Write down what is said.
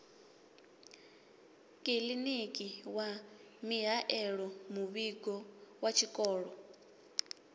kiḽiniki wa mihaelomuvhigo wa tshikolo